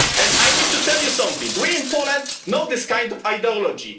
I need to tell you something we in Poland know this kind of ideology.